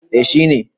Eh shi ne.